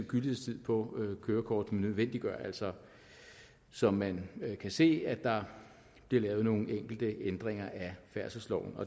gyldighedstid på kørekortet nødvendiggør altså som man kan se at der bliver lavet nogle enkelte ændringer af færdselsloven